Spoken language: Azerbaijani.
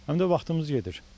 Həm də vaxtımız gedir.